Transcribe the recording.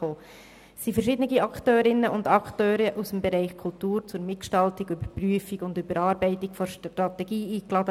Es waren verschiedene Akteurinnen und Akteure aus dem Bereich Kultur zur Mitgestaltung, Überprüfung und Überarbeitung der Strategie eingeladen.